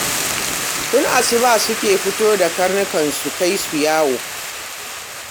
Tun asuba suke fito da karnukan su kai su yawo